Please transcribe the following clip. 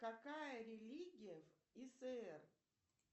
какая религия в иср